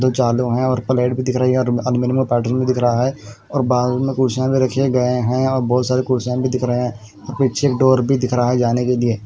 दो चालू है और प्लेट भी दिख रही है और पैटरूम भी दिख रहा है और बाल में भी देखे गए हैं और बहुत सारे कुर्सियां में दिख रहे हैं और पीछे डोर भी दिख रहा है जाने के लिए।